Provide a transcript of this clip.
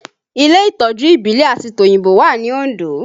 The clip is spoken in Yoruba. Ilé Ìtọ́jú ìbílẹ̀ àti tòyìnbó wà ní Ondo